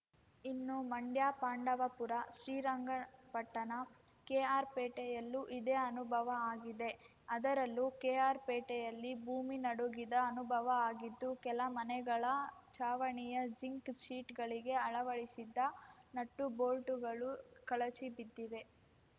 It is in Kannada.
ಇನ್ನು ಮಂಡ್ಯ ಪಾಂಡವಪುರ ಶ್ರೀರಂಗಪಟ್ಟಣ ಕೆಆರ್‌ಪೇಟೆಯಲ್ಲೂ ಇದೇ ಅನುಭವ ಆಗಿದೆ ಅದರಲ್ಲೂ ಕೆಆರ್‌ಪೇಟೆಯಲ್ಲಿ ಭೂಮಿ ನಡುಗಿದ ಅನುಭವ ಆಗಿದ್ದು ಕೆಲ ಮನೆಗಳ ಚಾವಣಿಯ ಜಿಂಕ್‌ ಶೀಟ್‌ಗಳಿಗೆ ಅಳವಡಿಸಿದ್ದ ನಟ್ಟುಬೋಲ್ಟುಗಳು ಕಳಚಿ ಬಿದ್ದಿವೆ